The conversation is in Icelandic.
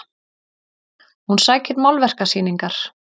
Hún sækir málverkasýningar